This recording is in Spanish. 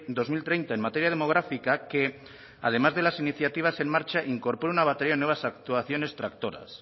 dos mil treinta en materia demográfica que además de las iniciativas en marcha incorpore una batería de nuevas actuaciones tractoras